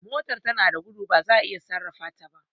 Motar da tana gudo ba za'a iya sarrafa ta ba